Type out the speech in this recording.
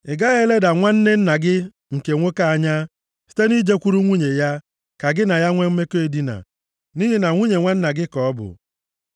“ ‘Ị gaghị eleda nwanne nna gị nke nwoke anya, site nʼijekwuru nwunye ya, ka gị na ya nwe mmekọ edina. Nʼihi na nwunye nwanna gị ka ọ bụ.